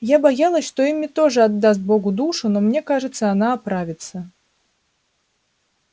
я боялась что эмми тоже отдаст богу душу но мне кажется она оправится